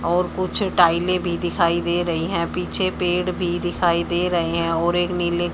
और कुछ टाइलें भी दिखाई दे रही हैं पीछे पेड़ भी दिखाई दे रहे हैं और एक नीले--